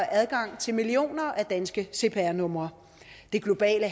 adgang til millioner af danske cpr numre det globale